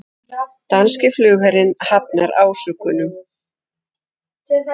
Danski flugherinn hafnar ásökunum